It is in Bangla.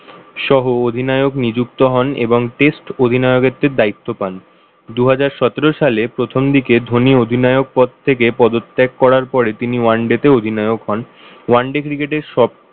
সহ অধিনায়ক নিযুক্ত হন এবং test অধিনায়কত্বের দায়িত্ব পান। দুহাজার সতেরো সালে প্রথম দিকে ধনী অধিনায়ক পদ থেকে পদত্যাগ করার পরে তিনি oneday তে অধিনায়ক হন one-day cricket এর সব